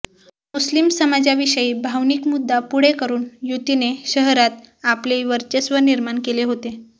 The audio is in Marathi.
मुस्लिम समाजाविषयी भावनिक मुद्दा पुढे करून युतीने शहरात आपले वर्चस्व निर्माण केले होते